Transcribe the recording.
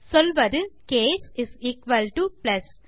சொல்வது case plus